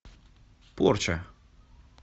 порча